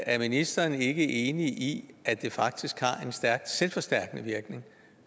er ministeren ikke enig i at det faktisk har en stærk selvforstærkende virkning